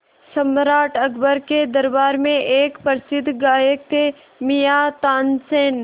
सम्राट अकबर के दरबार में एक प्रसिद्ध गायक थे मियाँ तानसेन